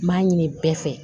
N m'a ɲini bɛɛ fɛ